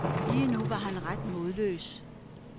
Lige nu var han ret modløs.